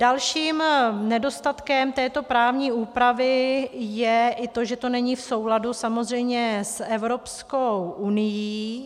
Dalším nedostatkem této právní úpravy je i to, že to není v souladu samozřejmě s Evropskou unií.